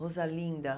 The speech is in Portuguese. Rosalinda.